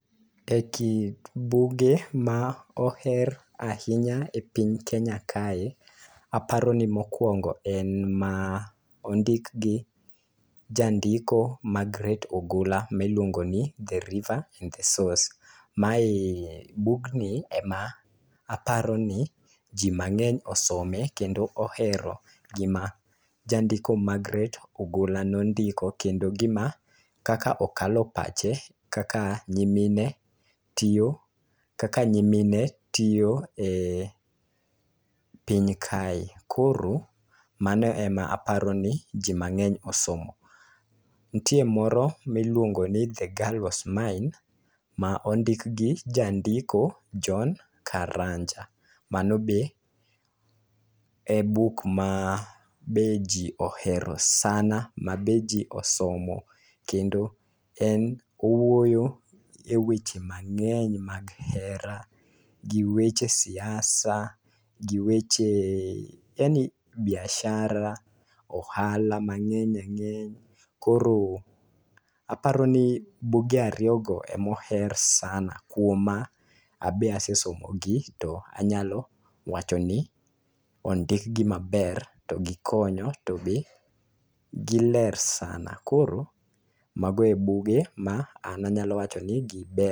E kind buge ma oher ahinya e piny Kenya kae, aparo ni mokuongo en ma ondik gi jandiko Magret Ogola miluongo ni 'The River and the Source'. Mae bugni e ma aparo ni ji mang'eny osome kendo ohero gima jandiko Magret Ogola nondiko kendo gima kaka okalo pache kaka nyimine tiyo, kaka nyimine tiyo e piny kae. Koro mano e ma aparo ni ji mang'eny osomo. Nitie moro miluongo ni 'The girl was mine' ma ondik gi jandiko John Karanja. Mano be e buk ma be ji ohero sana ma be ji osomo kendo en owuoyo e weche mang'eny mag hera gi weche siasa gi weche, biashara, ohala mang'eny ang'eny. Koro aparo ni buge ariyo go ema oher sana. Kuoma, abe asesomo gi to anyalo wacho ni ondik gi maber, to gikonyo to be giler sana. Koro mago e buge ma an anyalo wacho ni giber.